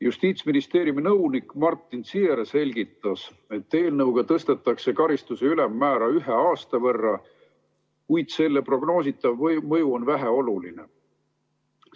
Justiitsministeeriumi nõunik Martin Ziehr selgitas, et eelnõuga tõstetakse karistuse ülemmäära ühe aasta võrra, kuid selle prognoositav mõju on väheoluline.